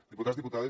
diputats diputades